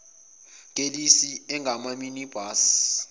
kelisi angama minibus